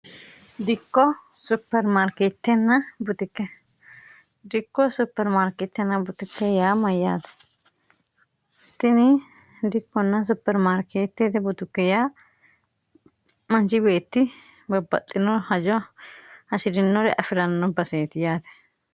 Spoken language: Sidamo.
dikko supermaarkitenna butukke yaa mayyaate tini dikkonn supermaarkeettite butukki yaa mancibeetti babbaxxino hajo hashi'rinore afi'ranno baseeti yaate